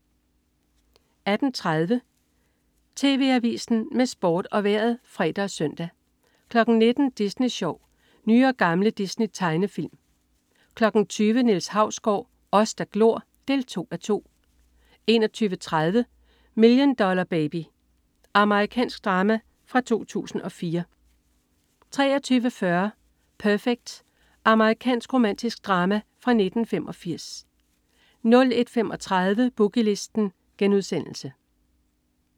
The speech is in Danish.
18.30 TV Avisen med Sport og Vejret (fre og søn) 19.00 Disney Sjov. Nye og gamle Disney-tegnefilm 20.00 Niels Hausgaard. Os der glor 2:2 21.30 Million Dollar Baby. Amerikansk drama fra 2004 23.40 Perfect. Amerikansk romantisk drama fra 1985 01.35 Boogie Listen*